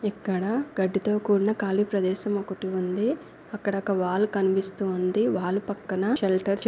ఇక్కడ గడ్డితో కూడిన కాళి ప్రదేశం ఒకటి ఉంది అక్కడ ఒక వాల్ కనిపిస్తూ ఉంది వాల్ పక్కన షెల్టర్స్ --